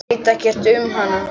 Veit ekkert um hana.